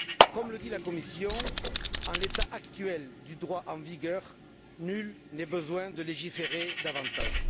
Comme le dit la Commission, en l'état actuel du droit en vigueur, nul n'est besoin de légiférer davantage.